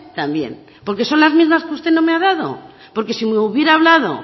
también porque son las mismas que usted no me ha dado porque si hubiera hablado